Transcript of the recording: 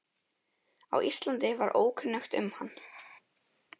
á Íslandi var ókunnugt um hann.